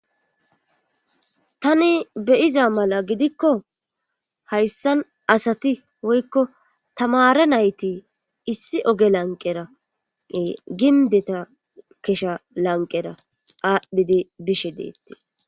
Tani beyiza mala gidikko hayssan asati woykko tamare nayti issi oge lanqerae ginbeta kesha lanqera aadhdhidi bishe deettes